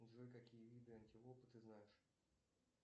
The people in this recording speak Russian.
джой какие виды антилопы ты знаешь